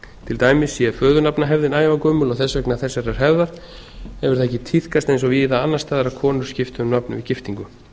til dæmis sé föðurnafnahefðin ævagömul og þess vegna þessarar hefur það ekki tíðkast eins og víða annars staðar að konur skipti um nafn við giftingu